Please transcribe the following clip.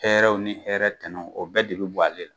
Hɛrɛw ni hɛrɛ tɛnaw o bɛɛ de bi bɔ a le la